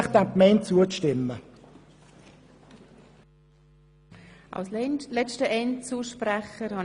Ich bitte Sie, diesem Gesetz auch zuzustimmen.